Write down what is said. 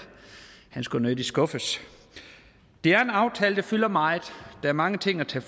han skulle jo nødig skuffes det er en aftale der fylder meget der er mange ting at tage